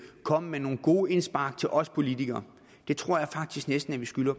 komme med nogle gode indspark til os politikere det tror jeg faktisk næsten at vi skylder